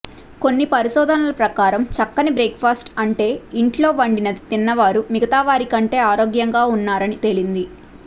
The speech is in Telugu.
కొన్ని పరిశోధనల ప్రకారం చక్కని బ్రేక్ఫాస్ట్ అంటే ఇంట్లో వండినది తిన్నవారు మిగతావారికంటే ఆరోగ్యంగా ఉన్నారని తేలింది